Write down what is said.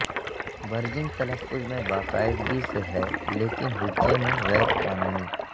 bridging تلفظ میں باقاعدگی سے ہے لیکن ہجے میں غیر قانونی